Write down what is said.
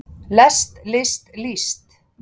lest list líst